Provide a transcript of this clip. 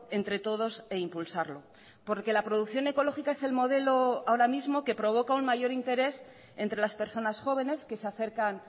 entre todos e impulsarlo porque la producción ecológica es el modelo ahora mismo que provoca un mayor interés entre las personas jóvenes que se acercan